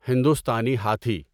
ہندوستانی ہاتھی